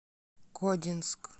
кодинск